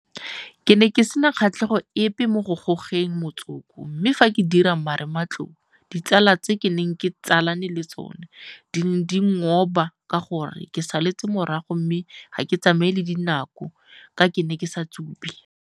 Ke ne ke sena kgatlhego epe mo go gogeng motsoko mme fa ke dira marematlou ditsala tse ke neng ke tsalane le tsona di ne di nkgoba ka gore ke saletse morago mme ga ke tsamaye le dinako ka ke ne ke sa tsube.